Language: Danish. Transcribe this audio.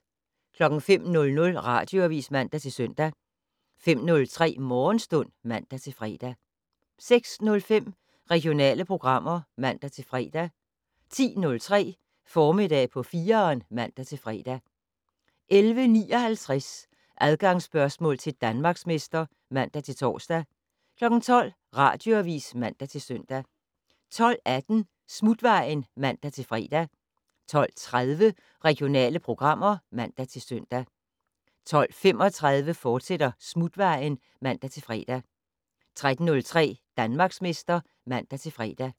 05:00: Radioavis (man-søn) 05:03: Morgenstund (man-fre) 06:05: Regionale programmer (man-fre) 10:03: Formiddag på 4'eren (man-fre) 11:59: Adgangsspørgsmål til Danmarksmester (man-tor) 12:00: Radioavis (man-søn) 12:18: Smutvejen (man-fre) 12:30: Regionale programmer (man-søn) 12:35: Smutvejen, fortsat (man-fre) 13:03: Danmarksmester (man-fre)